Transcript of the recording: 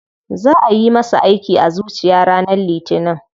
Za ayi masa aiki a zuciya ranar litinin.